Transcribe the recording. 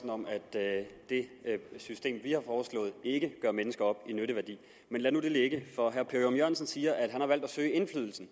at det system vi har foreslået ikke gør mennesker op i nytteværdi men lad nu det ligge for herre per ørum jørgensen siger at han har valgt at søge indflydelsen